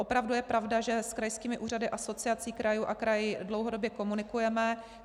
Opravdu je pravda, že s krajskými úřady, Asociací krajů a kraji dlouhodobě komunikujeme.